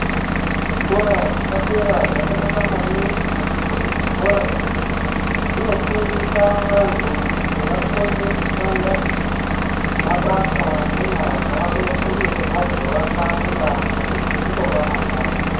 Zvikora zvepadera zvakanaka maningi ngekuti zvikora izvi zvinofundisa vantu kuti vakone kushanda mabasa enyara dzavo nekuti vazovaka nyika nekuti ndivo vamangwani.